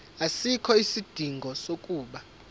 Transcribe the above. asikho isidingo sokuba